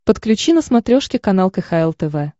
подключи на смотрешке канал кхл тв